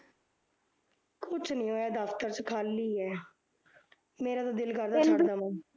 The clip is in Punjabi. ਕੁਝ ਨੀ ਹੋਇਆ ਦਫ਼ਤਰ ਚ ਖਾਲੀ ਐ ਮੇਰਾ ਤਾਂ ਦਿਲ ਕਰਦਾ ਛੱਡ ਦੇਵਾ